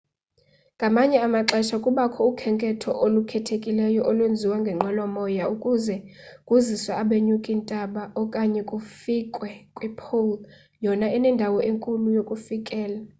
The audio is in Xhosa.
ngamanye amaxesha kubakho ukhenketho olukhethekileyo olwenziwa ngenqwelo moya ukuze kuziswe abanyuki ntaba okanye kufikwe kwi-pole yona enendawo enkulu yokufikela